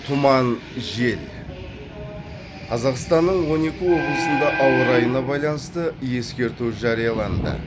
тұман жел қазақстанның он екі облысында ауа райына байланысты ескерту жарияланды